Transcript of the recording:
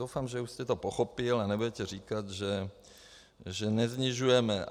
Doufám, že už jste to pochopil a nebudete říkat, že nesnižujeme.